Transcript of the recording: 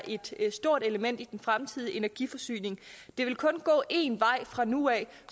et stort element i den fremtidige energiforsyning det vil kun gå en vej fra nu af